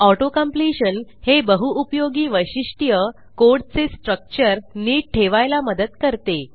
auto completion हे बहुउपयोगी वैशिष्ट्य कोडचे स्ट्रक्चर नीट ठेवायला मदत करते